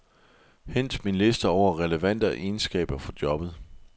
Hent min liste over relevante egenskaber for jobbet.